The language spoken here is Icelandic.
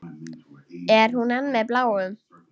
Er hún enn með Bláum?